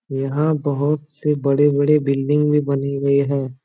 यहां बहुत से बड़े-बड़े बिल्डिंग भी बने गए है।